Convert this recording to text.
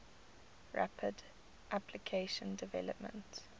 rapid application development